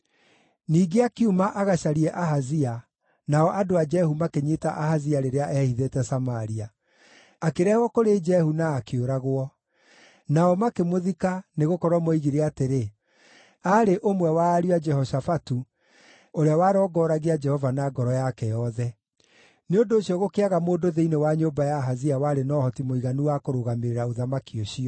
Ningĩ akiuma agacarie Ahazia, nao andũ a Jehu makĩnyiita Ahazia rĩrĩa eehithĩte Samaria. Akĩrehwo kũrĩ Jehu na akĩũragwo. Nao makĩmũthika nĩgũkorwo moigire atĩrĩ, “Aarĩ ũmwe wa ariũ a Jehoshafatu, ũrĩa warongoragia Jehova na ngoro yake yothe.” Nĩ ũndũ ũcio gũkĩaga mũndũ thĩinĩ wa nyũmba ya Ahazia warĩ na ũhoti mũiganu wa kũrũgamĩrĩra ũthamaki ũcio.